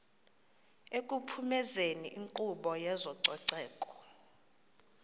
ekuphumezeni inkqubo yezococeko